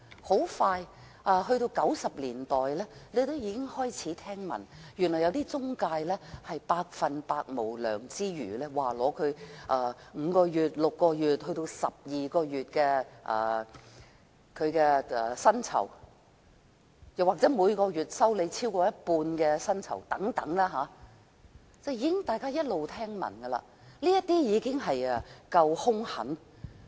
很快到了1990年代，我們開始聽聞，原來有些中介公司極度無良，收取她們5個月、6個月，甚至12個月的薪酬作為費用，又或是每月收取她們超過一半的月薪等。